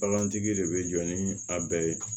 Bagantigi de bɛ jɔ ni a bɛɛ ye